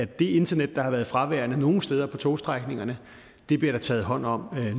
det internet der har været fraværende nogle steder på togstrækningerne bliver der taget hånd om